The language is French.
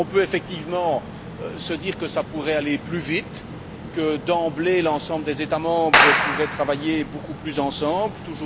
On peut effectivement se dire que ça pourrait aller plus vite, que, d'emblée, l'ensemble des États membres pourraient travailler beaucoup plus de concert,